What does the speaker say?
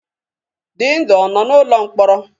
Dịndụ ọ nọ n'ụlọ mkpọrọ?